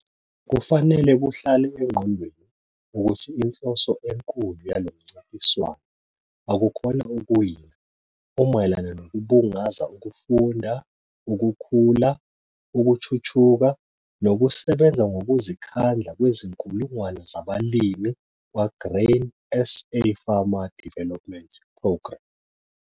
Kufanele kuhlale engqondweni ukuthi inhloso enkulu yalo mncintiswano akukhona ukuwina, umayelana nokubungaza ukufunda, ukukhula, ukuthuthuka nokusebenza ngokuzikhandla kwezinkulungwane zabalimi kwaGrain SA Farmer Development Programme.